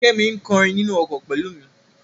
Kẹ́mi ń kọrin nínú ọkọ̀ pẹ̀lú mi.